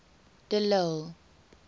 de lille